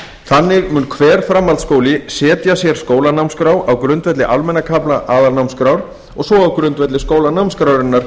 þannig mun hver framhaldsskóli setja sér skólanámskrá á grundvelli almenna kafla aðalnámskrár og svo á grundvelli skólanámskrárinnar